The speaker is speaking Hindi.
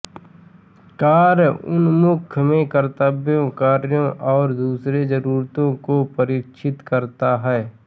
कार्य उन्मुख में कर्तव्यों कार्यो और दूसरे जरुरतों को परीक्षित करता है